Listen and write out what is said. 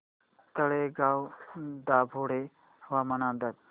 तळेगाव दाभाडे हवामान अंदाज